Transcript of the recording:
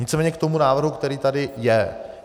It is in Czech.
Nicméně k tomu návrhu, který tady je.